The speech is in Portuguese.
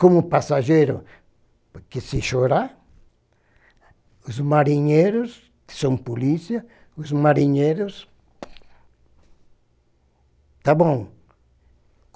Como passageiro, porque se chorar, os marinheiros, que são polícia, os marinheiros... Tá bom.